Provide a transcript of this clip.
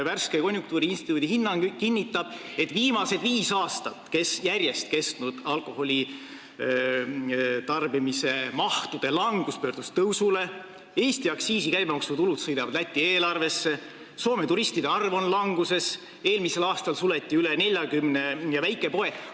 Värske konjunktuuriinstituudi hinnang kinnitab, et viimased viis aastat järjest kestnud alkoholi tarbimise mahtude langus on tõusule pöördunud, Eesti aktsiisi- ja käibemaksutulud sõidavad Läti eelarvesse, Soome turistide arv on languses ja eelmisel aastal suleti üle 40 väikepoe.